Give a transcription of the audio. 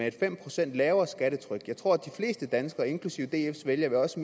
et fem procent lavere skattetryk jeg tror at de fleste danskere inklusive dfs vælgere også